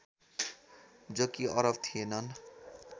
जो कि अरब थिएनन्